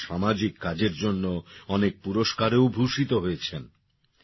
তিনি তাঁর সামাজিক কাজের জন্য অনেক পুরস্কারেও ভূষিত হয়েছেন